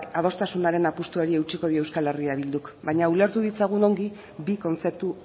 adostasunaren apustuari eutsiko dio euskal herria bilduk baino ulertu ditzagun ongi bi kontzeptu